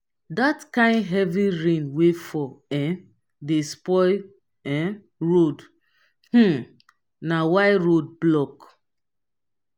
dat kain heavy rain wey fall um dey spoil um road um na why road block.